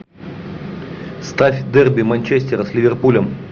ставь дерби манчестера с ливерпулем